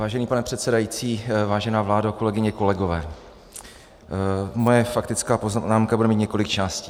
Vážený pane předsedající, vážená vládo, kolegyně, kolegové, moje faktická poznámka bude mít několik částí.